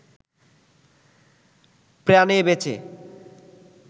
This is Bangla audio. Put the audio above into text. প্রাণে বেঁচে